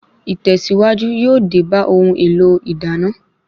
Ìtẹ̀síwájú yóò dé bá ohun èlò ìdáná